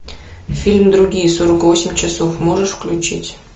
фильм другие сорок восемь часов можешь включить